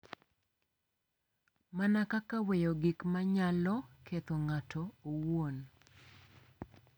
Mana kaka weyo gik ma nyalo ketho ng’ato owuon .